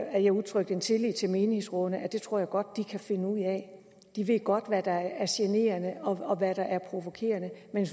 at jeg udtrykte min tillid til menighedsrådene for det tror jeg godt de kan finde ud af de ved godt hvad der er generende og hvad der er provokerende men